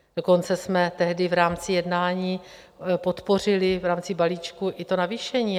Dokonce jsme tehdy v rámci jednání podpořili v rámci balíčku i to navýšení.